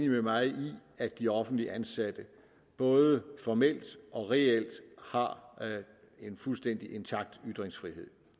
at de offentligt ansatte både formelt og reelt har en fuldstændig intakt ytringsfrihed